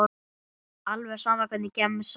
Alveg sama Hvernig gemsa áttu?